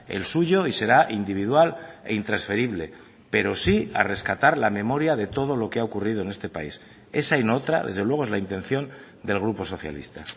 el suyo y será individual e intransferible pero sí a rescatar la memoria de todo lo que ha ocurrido en este país esa y no otra desde luego es la intención del grupo socialista